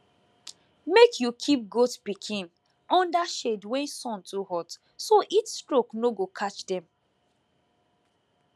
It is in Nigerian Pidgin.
make you keep goat pikin under shade when sun too hot so heatstroke no go catch dem